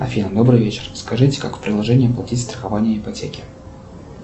афина добрый вечер скажите как в приложении платить страхование ипотеки